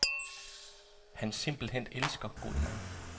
Han simpelthen elsker god mad.